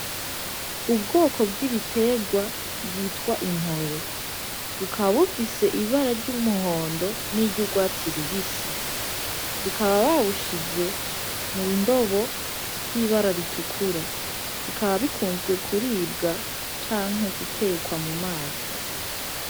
Ubwoko bw'ibitegwa bwitwa intore bukaba bufise ibara ry'umuhondo n'iryo urwatsi rubisi bikaba babushize mu ndobo ry'ibara ritukura bukaba bikunzwe kuribwa canke gutekwa mu mazi.